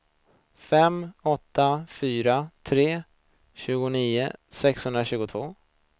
fem åtta fyra tre tjugonio sexhundratjugotvå